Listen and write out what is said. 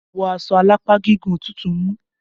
Wọ́ aṣọ alápá gígùn! Òtútù mú!